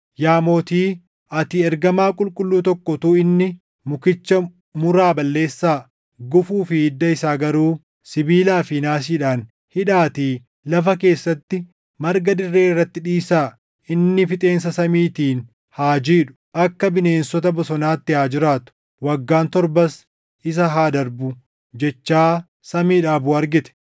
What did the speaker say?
“Yaa Mootii, ati ergamaa qulqulluu tokko utuu inni, ‘Mukicha muraa balleessaa; gufuu fi hidda isaa garuu sibiilaa fi naasiidhaan hidhaatii lafa keessatti marga dirree irratti dhiisaa; inni fixeensa samiitiin haa jiidhu; akka bineensota bosonaatti haa jiraatu; waggaan torbas isa haa darbu’ jechaa samiidhaa buʼu argite.